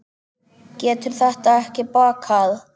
Það getur ekki bakkað.